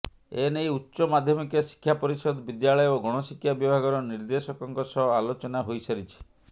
ଏନେଇ ଉଚ୍ଚ ମାଧ୍ୟମିକ ଶିକ୍ଷା ପରିଷଦ ବିଦ୍ୟାଳୟ ଓ ଗଣଶିକ୍ଷା ବିଭାଗର ନିର୍ଦେଶକଙ୍କ ସହ ଆଲୋଚନା ହୋଇସାରିଛି